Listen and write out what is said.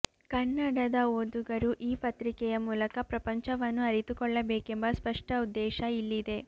ಕನ್ನಡದ ಓದುಗರು ಈ ಪತ್ರಿಕೆಯ ಮೂಲಕ ಪ್ರಪಂಚವನ್ನು ಅರಿತುಕೊಳ್ಳಬೇಕೆಂಬ ಸ್ಪಷ್ಟ ಉದ್ದೇಶ ಇಲ್ಲಿದೆ